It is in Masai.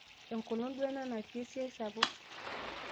enkolong duo ena natii esiai sapuk